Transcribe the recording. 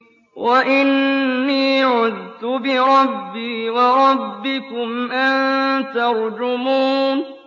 وَإِنِّي عُذْتُ بِرَبِّي وَرَبِّكُمْ أَن تَرْجُمُونِ